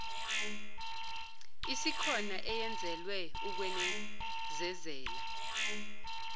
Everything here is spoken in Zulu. isikhona eyenzelwe ukwenezezela